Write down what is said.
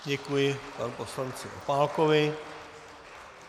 Děkuji panu poslanci Opálkovi.